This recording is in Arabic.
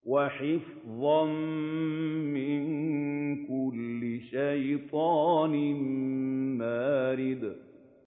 وَحِفْظًا مِّن كُلِّ شَيْطَانٍ مَّارِدٍ